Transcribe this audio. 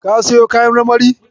Ka siyo kayan marmarin.